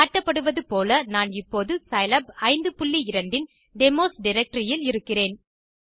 காட்டப்படுவது போல நான் இப்போது சிலாப் 52 இன் டெமோஸ் டைரக்டரி இல் இருக்கிறேன்